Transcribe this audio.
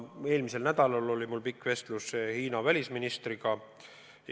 Eelmisel nädalal oli mul pikk vestlus Hiina välisministriga.